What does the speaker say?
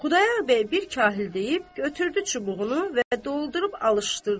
Xudayağ bəy bir kahıl deyib götürdü çubuğunu və doldurub alışdırdı.